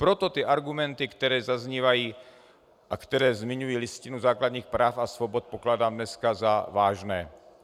Proto ty argumenty, které zaznívají a které zmiňují Listinu základních práv a svobod, pokládám dneska za vážné.